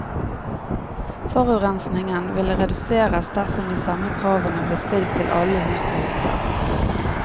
Forurensningen ville reduseres dersom de samme kravene ble stilt til alle hus og hytter.